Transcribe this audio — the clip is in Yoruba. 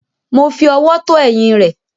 Mo fi ọwọ́ tọ́ ẹ̀yìn rẹ̀.